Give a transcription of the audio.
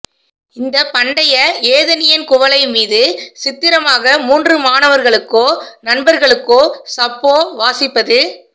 இந்த பண்டைய ஏதெனியன் குவளை மீது சித்திரமாக மூன்று மாணவர்களுக்கோ நண்பர்களுக்கோ சப்போ வாசிப்பது